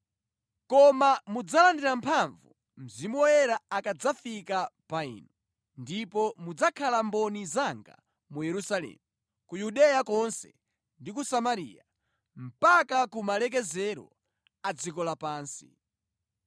Koma mudzalandira mphamvu Mzimu Woyera akadzafika pa inu; ndipo mudzakhala mboni zanga mu Yerusalemu, ku Yudeya konse ndi ku Samariya, mpaka ku malekezero a dziko lapansi.”